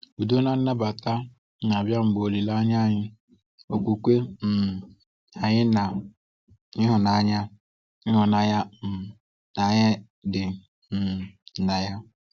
Udo na nnabata na-abịa mgbe olileanya anyị, okwukwe um anyị, na ịhụnanya ịhụnanya um anyị dị um na ya.